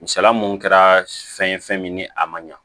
Misala mun kɛra fɛn min ni a man ɲa